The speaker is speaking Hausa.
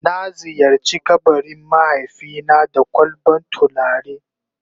Na ziyarce kabarin mahaifi na da kwalban tulare.